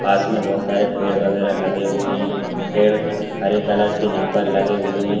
पास में बहुत सारे पेड़ वगैरा लगे हुए हैं पेड़ हरे कलर के यहाँ पर लगे हुए हैं।